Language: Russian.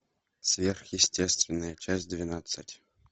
сверхъестественное часть двенадцать